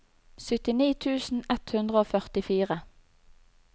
syttini tusen ett hundre og førtifire